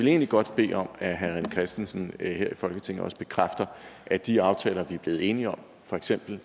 egentlig godt bede om at herre rené christensen her i folketinget bekræfter at de aftaler vi er blevet enige om for eksempel